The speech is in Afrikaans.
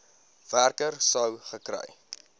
werker sou gekry